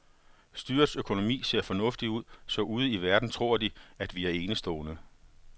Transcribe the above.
Styrets økonomi ser fornuftig ud, så ude i verden tror de, at vi er enestående.